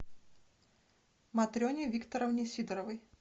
матрене викторовне сидоровой